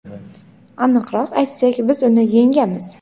aniqroq aytsak biz uni yengamiz.